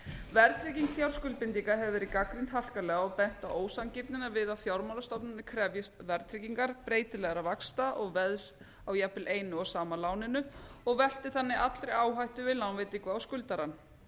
verðtrygging fjárskuldbindinga hefur verið gagnrýnd harkalega og bent á ósanngirnina við að fjármálastofnanir krefjist verðtryggingar breytilegra vaxta og veðs á jafnvel einu og sama láninu og velti þannig allri áhættu við lánveitingu á skuldarann